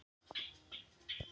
Ég segi ekki orð um það.